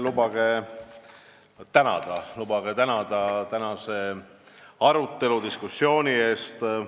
Kõigepealt lubage tänada tänase arutelu eest!